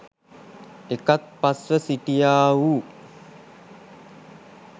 එකත් පස්ව සිටියා වූ